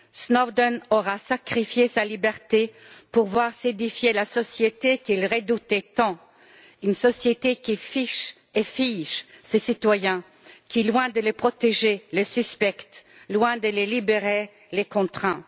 Snowden aura sacrifié sa liberté pour voir s'édifier la société qu'il redoutait tant, une société qui fiche et fige ses citoyens, qui, loin de les protéger, les suspecte et, loin de les libérer, les contraint.